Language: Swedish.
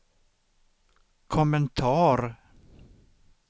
kommentar